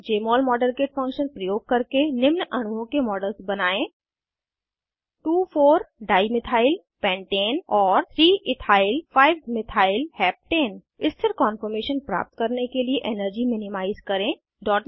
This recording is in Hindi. जमोल मॉडेलकिट फंक्शन प्रयोग करके निम्न अणुओं के मॉडल्स बनायें 2 4 डाइमिथाइल पेंटाने और 3 इथाइल 5 मिथाइल हेप्टेन स्थिर कॉन्फॉर्मेशन प्राप्त करने के लिए एनर्जी मिनिमाइज़ करें